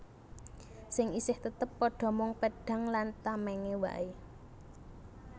Sing isih tetep padha mung pedhang lan tamèngé waé